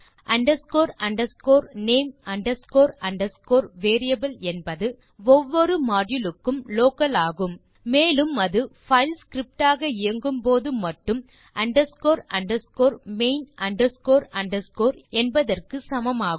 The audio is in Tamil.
underscore underscore name underscore underscore variable என்பது ஒவ்வொரு மாடியூல் க்கும் லோக்கல் ஆகும் மேலும் அது பைல் ஸ்கிரிப்ட் ஆக இயங்கும்போது மட்டும் underscore underscore main underscore underscore என்பதற்கு சமமாகும்